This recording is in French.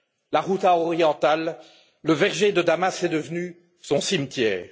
La Ghouta orientale, le verger de Damas, est devenue son cimetière.